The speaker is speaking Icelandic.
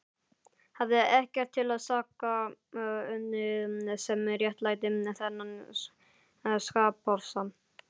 Hafði ekkert til saka unnið sem réttlætti þennan skapofsa.